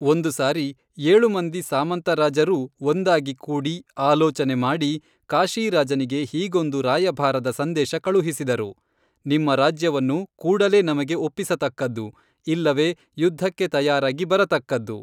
ಒಂದು ಸಾರಿ ಏಳು ಮಂದಿ ಸಾಮಂತ ರಾಜರೂ ಒಂದಾಗಿ ಕೂಡಿ ಆಲೋಚನೆ ಮಾಡಿ ಕಾಶೀರಾಜನಿಗೇ ಹೀಗೊಂದು ರಾಯಭಾರದ ಸಂದೇಶ ಕಳುಹಿಸಿದರು, ನಿಮ್ಮ ರಾಜ್ಯವನ್ನು ಕೂಡಲೇ ನಮಗೇ ಒಪ್ಪಿಸತಕ್ಕದ್ದು ಇಲ್ಲವೇ ಯುದ್ಧಕ್ಕೇ ತಯಾರಾಗಿ ಬರತಕ್ಕದ್ದು